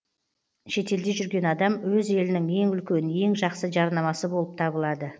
шетелде жүрген адам өз елінің ең үлкен ең жақсы жарнамасы болып табылады